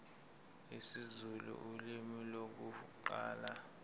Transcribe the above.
isizulu ulimi lokuqala